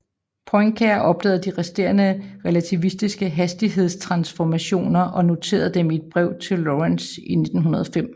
Poincaré opdagede de resterende relativistiske hastighedstransformationer og noterede dem i et brev til Lorentz i 1905